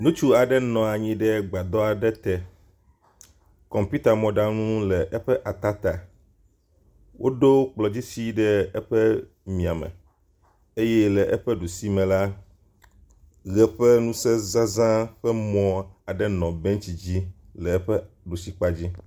Ŋutsu aɖe nɔ anyi ɖe gbadɔ aɖe te. Kɔmputa mɔɖaŋu le eƒe ata ta. Woɖo kplɔdzi si ɖe eƒe miame eye le eƒe ɖusi me la ʋe ƒe ŋuse zaza ƒe mɔ aɖe nɔ bentsi dzi le eƒe ɖusikpadzi.